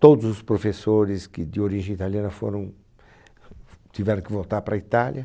Todos os professores que de origem italiana foram f f tiveram que voltar para a Itália.